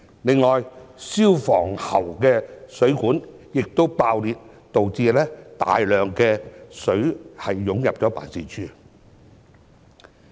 此外，消防喉的水管爆裂，導致大量食水湧入辦事處。